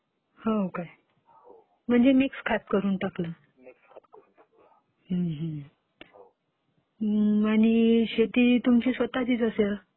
हो काय? म्हणजे मिक्स खत टाकलं?